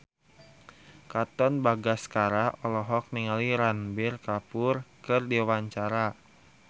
Katon Bagaskara olohok ningali Ranbir Kapoor keur diwawancara